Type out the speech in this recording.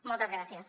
moltes gràcies